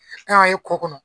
ne y'a ye kɔ kɔnɔ.